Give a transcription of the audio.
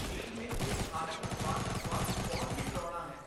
ਚੀਨ ਵਿੱਚ ਇਸ ਸਥਾਨਕ ਪਕਵਾਨ ਦਾ ਸੁਆਦ ਬਹੁਤ ਹੀ ਡਰਾਉਣਾ ਹੈ।